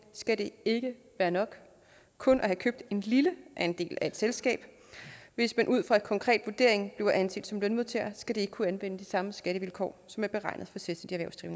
skal det ikke være nok kun at have købt en lille andel af et selskab hvis man ud fra en konkret vurdering bliver anset som lønmodtager skal man ikke kunne anvende de samme skattevilkår som er beregnet for selvstændigt